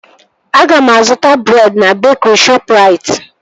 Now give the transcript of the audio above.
Aga m azụta breed na bekri Shọpụrait